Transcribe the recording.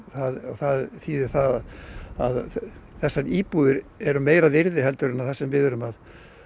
það þýðir það að þessar íbúðir eru meira virði en það sem við erum að